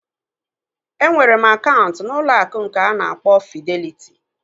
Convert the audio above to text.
Enwere m akaụntụ n'ụlọ akụ nke nke a na-akpọ Fideliti